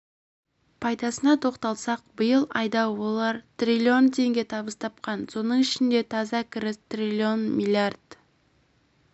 пайдасына тоқталсақ биыл айда олар триллион теңге табыс тапқан соның ішінде таза кіріс триллион миллиард